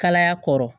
Kalaya kɔrɔ